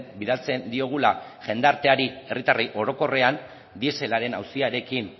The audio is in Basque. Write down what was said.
bidaltzen diogula jendarteari herritarrei orokorrean dieselaren auziarekin